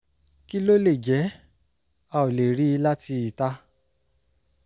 kí ló lè jẹ́? a ò lè rí i láti ìta